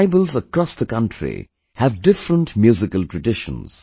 Tribals across the country have different musical traditions